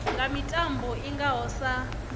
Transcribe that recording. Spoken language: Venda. nga mitambo i ngaho sa